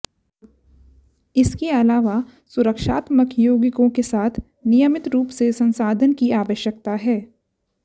इसके अलावा सुरक्षात्मक यौगिकों के साथ नियमित रूप से संसाधन की आवश्यकता है